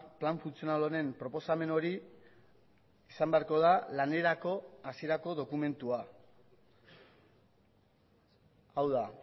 plan funtzional honen proposamen hori izan beharko da lanerako hasierako dokumentua hau da